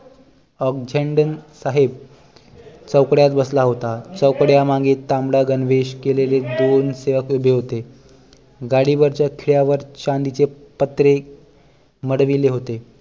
ऑकझेंडण साहेब चौकड्यात बसला होता चौकड्या मागे तांबडा गणवेश केलेले दोन सेवक उभे होते गाडीवरच्या खिळयावर चांदीचे पत्रे मढविले होते